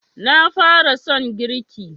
Na fara son girki